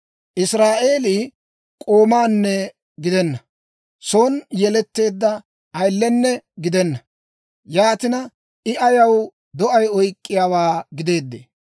«Israa'eelii k'oomanne gidenna; son yeletteedda ayilenne gidenna. Yaatina, I ayaw do'ay oyk'k'iyaawaa gideedee?